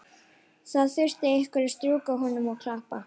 Það þurfti einhver að strjúka honum og klappa.